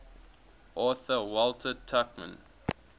author walter tuchman